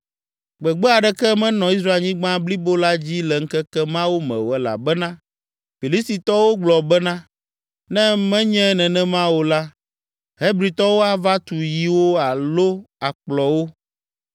Gbede aɖeke menɔ Israelnyigba blibo la dzi le ŋkeke mawo me o elabena Filistitɔwo gblɔ bena, ne menye nenema o la, Hebritɔwo ava tu yiwo alo akplɔwo!